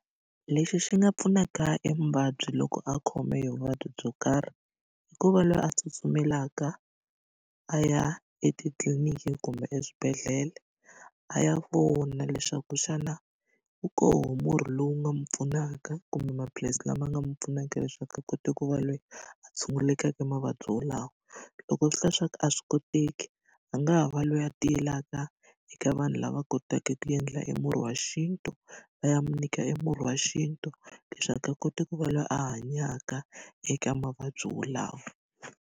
Lexi xi nga pfunaka emuvabyi loko a khome vuvabyi byo karhi, i ku va loyi a tsutsumela eka a ya etitliliniki kumbe eswibedhlele, a ya vona leswaku xana wu koho murhi lowu nga n'wi pfunaka kumbe maphilisi lama nga n'wi pfunaka leswaku a kota ku va loyi a tshungulekaka mavabyi walawo. Loko swi hla swa ku a swi koteki, a nga ha va loyo a tiyelaka eka vanhu lava kotaka ku endla emurhi wa xintu, va ya mi nyika emurhi wa xintu leswaku a kota ku va loyi a hanyaka eka mavabyi wolawo.